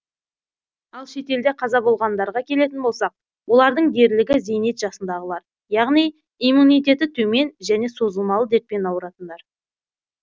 ал шетелде қаза болғандарға келетін болсақ олардың дерлігі зейнет жасындағылар яғни иммунитеті төмен және созылмалы дертпен ауыратындар